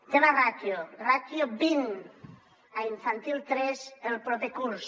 tema ràtio ràtio vint a infantil tres el proper curs